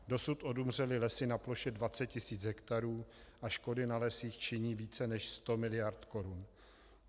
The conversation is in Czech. Dosud odumřely lesy na ploše 20 tisíc hektarů a škody na lesích činí více než 100 miliard korun.